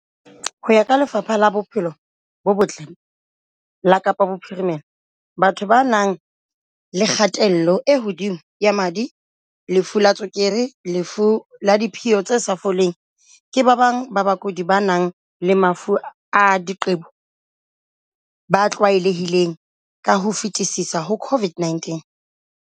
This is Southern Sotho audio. Ho ya ka Lefapha la Bophelo bo Botle la Kapa Bophirime-la, batho ba nang le kgatello e hodimo ya madi, lefu la tswe-kere le lefu la diphio le sa foleng, ke ba bang ba bakudi ba nang le mafu a diqebo ba tlwaelehileng ka ho fetisisa ho COVID-19.